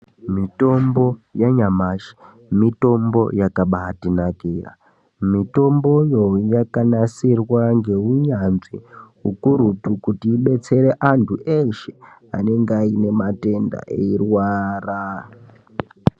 Mitombo yanyamashi, mitombo yakabaitinakira, mitomboyo, yakanasirwa ngeunyanzvi ukurutu, kuti ibetsere antu eeshe anenge ainematenda eirwara.